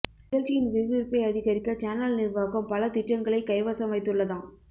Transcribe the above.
நிகழ்ச்சியின் விறுவிறுப்பை அதிகரிக்க சேனல் நிர்வாகம் பல திட்டங்களை கைவசம் வைத்துள்ளதாம்